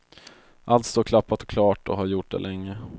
Allt står klappat och klart och har gjort det länge.